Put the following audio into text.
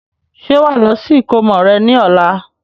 Ṣé wàá lọ sí ìkómọ rẹ ní ọ̀la?